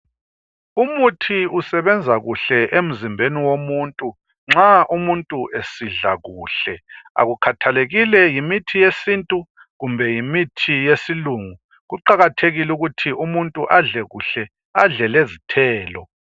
Umuthi usebenza kuhle emzimbeni womuntu, nxa umuntu esidla kuhle, akukhathalekile yimithi yesintu kumbe yimithi yesilungu, kuqakathekile ukuthi umuntu adle kuhle, adle lezithelo.